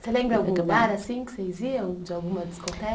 Você lembra algum lugar assim que vocês iam, de alguma discote